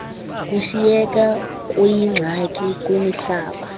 kushiyeka kuyingxaki kwimihlaba